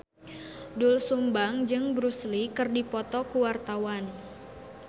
Doel Sumbang jeung Bruce Lee keur dipoto ku wartawan